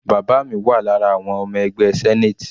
Bàbá mi wà lára àwọn ọmọ ẹgbẹ́ senate.